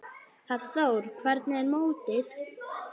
Hafþór: Hvernig er mótið?